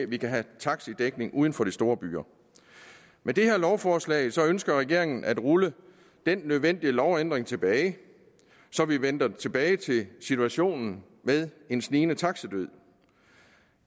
vi kan have en taxidækning uden for de store byer med dette lovforslag ønsker regeringen at rulle denne nødvendige lovændring tilbage så vi vender tilbage til situationen med en snigende taxidød